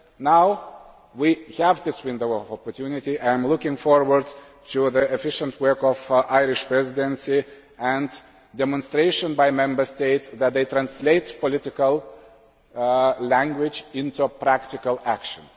Now we have this window of opportunity, and I am looking forward to the efficient work of the Irish Presidency and a demonstration by Member States that they translate political language into practical action.